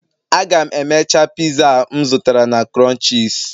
Aga m emecha pizza a m zụtara na crunches